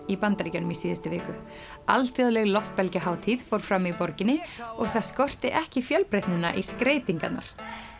í Bandaríkjunum í síðustu viku alþjóðleg fór fram í borginni og það skorti ekki fjölbreytnina í skreytingarnar